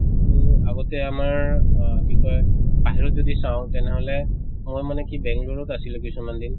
আৰু আগতে আমাৰ আহ কি কয় বাহিৰত যদি চাওঁ তেনেহলে মই মানে কি বেংলুৰিত আছিলো কিছুমান দিন